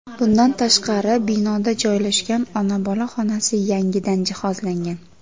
Bundan tashqari, binoda joylashgan ona-bola xonasi yangidan jihozlangan.